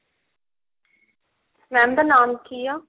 ਦੁਕਾਨ ਦਾ ਨਾਮ ਕੀ ਆ